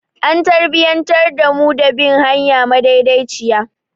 An tarbiyantar da mu da bin hanya madaidaiciya.